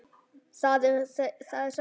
Það er sætt.